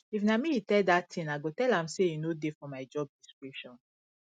if na me he tell dat thing i go tell am say e no dey for my job description